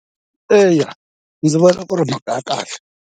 Eya ndzi vona ku ri mhaka ya kahle.